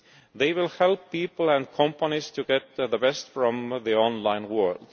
They will help people and companies to get the best from the online world.